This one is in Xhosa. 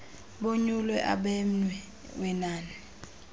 bonyule abenmye wenani